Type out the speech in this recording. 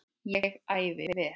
Ég æfði vel.